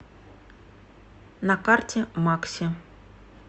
на карте макси